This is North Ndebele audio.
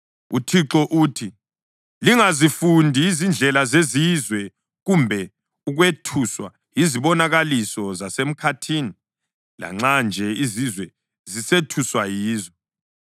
UThixo uthi: “Lingazifundi izindlela zezizwe kumbe ukwethuswa yizibonakaliso zasemkhathini, lanxa nje izizwe zisethuswa yizo.